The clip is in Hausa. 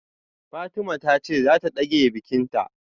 Fatima tace zata dage bikinta